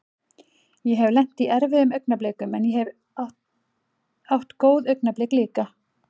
Ég hef lent í erfiðum augnablikum en ég hef átt góð augnablik líka.